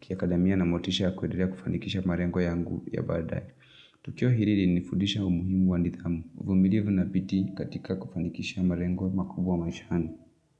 kiadamia na motisha kuendelea kufanikisha mlrengo yangu ya baadae. Tukio hili nifudisha umuhimu wa nidhamu. Uvumilivu na bidhii katika kufanikisha malengo makubwa maishani.